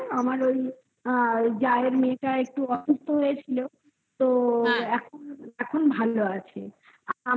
আমার ওই মেয়েটা একটু অসুস্থ হয়েছিল. তো এখন এখন ভালো আছে. আমাদের